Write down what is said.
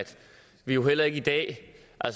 og